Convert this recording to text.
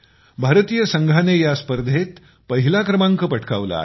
भारतीय संघाने या स्पर्धेत पहिला क्रमांक पटकावला आहे